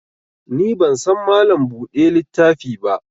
Ni ban san Mallam buɗe littafi ba